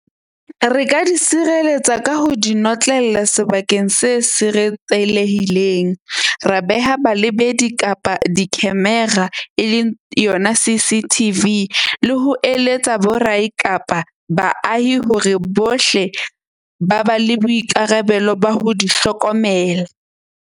Re ka di sireletsa ka ho di notlella sebakeng se siretsehileng. Ra beha balebedi kapa di-camera e leng yona C_C_T_ V le ho eletsa bo kapa baahi hore bohle ba ba le boikarabelo ba ho di hlokomela.